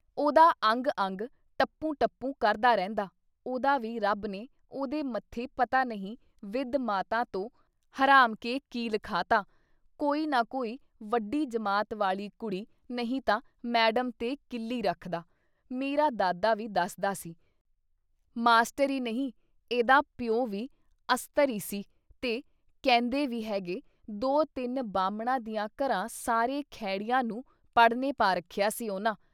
ਉਹਦਾ ਅੰਗ-ਅੰਗ ਟਪੂੰ-ਟਪੂੰ ਕਰਦਾ ਰਹਿੰਦਾ। ਉਦਾਂ ਵੀ ਰੱਬ ਨੇ ਉਹਦੇ ਮੱਥੇ ਪਤਾ ਨਹੀਂ ਵਿਧ ਮਾਤਾ ਤੋਂ ਹਰਾਮ ਕਿ ਕੀ ਲਿਖਾ ਤਾਂ, ਕੋਈ ਨਾ ਕੋਈ ਵੱਡੀ ਜਮਾਤ ਵਾਲੀ ਕੁੜੀ ਨਹੀਂ ਤਾਂ ਮੈਡਮ ਤੇ ਕੀਲੀ ਰੱਖਦਾ। ਮੇਰਾ ਦਾਦਾ ਵੀ ਦੱਸਦਾ ਸੀ ਮਾਸਟਰ ਈ ਨਹੀਂ ਏਦਾਂ ਪਿਉ ਵੀ ਅਸਤਰ ਈ ਸੀ ਤੇ ਕਹਿੰਦੇ ਵੀ ਹੈਗੇ ਦੋ-ਤਿੰਨ ਬਾਹਮਣਾਂ ਦਿਆਂ ਘਰਾਂ ਸਾਰੇ ਖੈੜਿਆਂ ਨੂੰ ਪੜ੍ਹਨੇ ਪਾ ਰੱਖਿਆ ਸੀ ਉਹਨਾਂ।